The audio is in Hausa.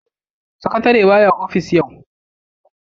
Sakatare ba ya ofishi yau.